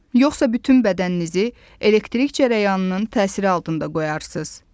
Yoxsa bütün bədənizi elektrik cərəyanının təsiri altında qoyarsınız.